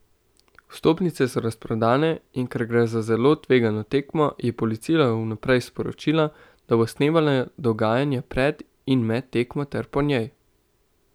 Vstopnice so razprodane, in ker gre za zelo tvegano tekmo, je policija vnaprej sporočila, da bo snemala dogajanje pred in med tekmo ter po njej.